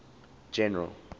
general